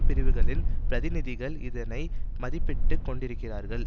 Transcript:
பிரிவுகளின் பிரதிநிதிகள் இதனை மதிப்பிட்டுக் கொண்டிருக்கிறார்கள்